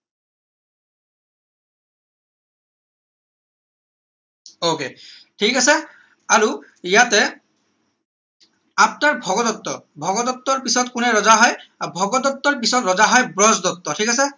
ok ঠিক আছে আৰু ইয়াতে after ভগদত্ত ভগদত্তৰ পিছত কোনে ৰজা হয় ভগদত্তৰ পিছত ৰজা হয় ব্ৰজদত্ত ঠিক আছে